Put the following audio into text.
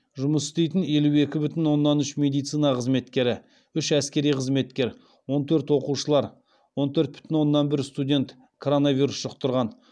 жұмыс істейтін елу екі бүтін оннан үш медицина қызметкері үш әскери қызметкер он төрт оқушылар он төрт бүтін оннан бір студент коронавирус жұқтырған